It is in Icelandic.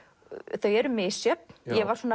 þau eru misjöfn ég var